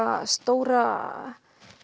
stóra